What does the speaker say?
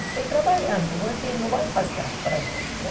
Estou trabalhando, não vai faltar para nós, né?